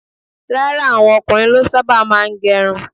Rárá, àwọn ọkùnrin ló sábà máa ń gẹrun.